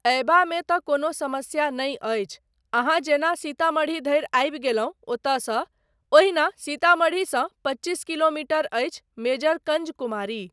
अयबामे तँ कोनो समस्या नहि अछि, अहाँ जेना सीतामढ़ी धरि आबि गेलहुँ ओतयसँ, ओहिना ,सीतामढ़ीसँ पच्चीस किलोमीटर अछि मेजरकंज कुमारी।